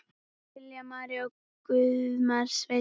Lilja María og Guðmar Sveinn.